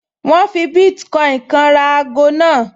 Wọ́n fi bítíkọ́ìnì kan ra ago náà